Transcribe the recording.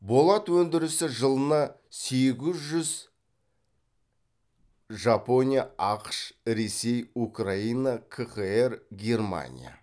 болат өндірісі жылына сегіз жүз жапония ақш ресей украина кхр германия